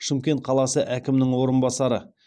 шымкент қаласы әкімінің орынбасары